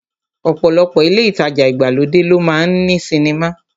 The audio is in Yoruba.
Ọ̀pọ̀lọpọ̀ ilé ìtajà ìgbàlódé ló máa ń ní sinimá